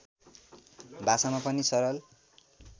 भाषामा पनि सरल